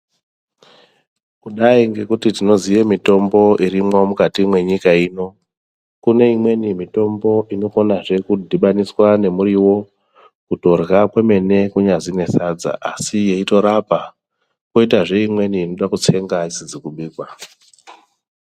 Kudai ngekuti tinoziye mitombo irimwo mukati mwenyika ino, kune imweni mitombo inokonazve kudhibaniswa nemuriwo kutorya kwemene, kunyazi nesadza asi yeitorapa. Koitazve imweni inoda kutsengwa isizi kubikwa.